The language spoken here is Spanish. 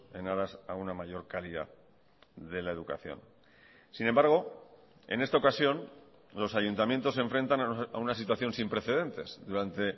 en aras a una mayor calidad de la educación sin embargo en esta ocasión los ayuntamientos se enfrentan a una situación sin precedentes durante